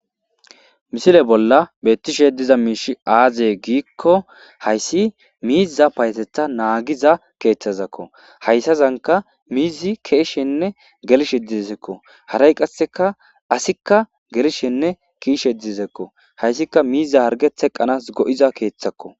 misile bolla beettishe diza miishi aaze giikko hayssi miiza payeteta naagiza keeththazakko hayssazanka mizi ke'ishenne gelshe didezekko haray qasseka asikka gelshenne kiishe didezekko hayssika miiza hargetheqqanas go7iza keeththakko